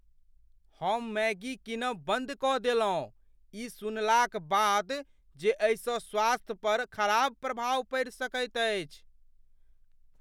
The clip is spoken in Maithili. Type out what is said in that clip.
हम मैगी कीनब बन्द कऽ देलहुँ ई सुनला क बाद जे एहिसँ स्वास्थ्य पर खराब प्रभाव पड़ि सकैत अछि।